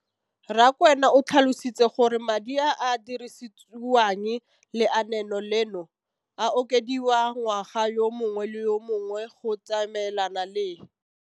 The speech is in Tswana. Rakwena o tlhalositse gore madi a a dirisediwang lenaane leno a okediwa ngwaga yo mongwe le yo mongwe go tsamaelana le